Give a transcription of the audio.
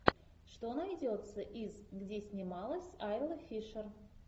что найдется из где снималась айла фишер